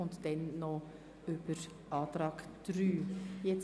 Abschliessend befinden wir über Antrag 3.